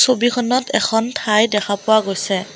ছবিখনত এখন ঠাই দেখা পোৱা গৈছে।